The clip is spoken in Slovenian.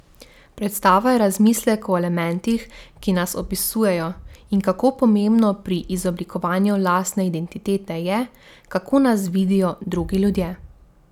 Predstava je razmislek o elementih, ki nas opisujejo, in kako pomembno pri izoblikovanju lastne identitete je, kako nas vidijo drugi ljudje.